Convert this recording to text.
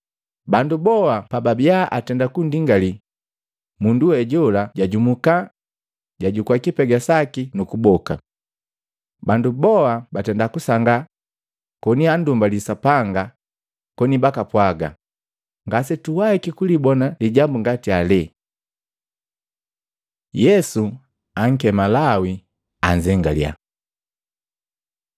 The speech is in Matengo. Bandu boa pababia atenda kundingali, mundu we jola jajumuka, jajukua lipega laki nu kuboka. Bandu boa batenda kusangaa koni andumbalii Sapanga koni bakapwaga, “Ngasituwahiki kulibona lijambu ngati ele!” Yesu ankema Lawi anzengalya Matei 9:9-13; Luka 5:27-32